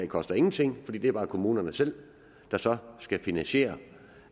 koster ingenting fordi det er bare kommunerne selv der så skal finansiere